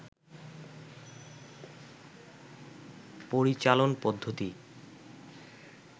পরিচালন পদ্ধতি